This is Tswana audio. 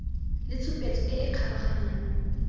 le tshupetso e e kgabaganyang